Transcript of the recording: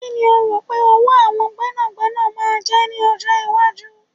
Kíni o rò pé owó àwọn gbẹ́nàgbẹ́nà máa jẹ́ ní ọjọ́ iwájú?